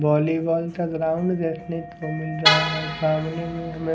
volleyball का ground देखने को मिल रहा है सामने में हमे--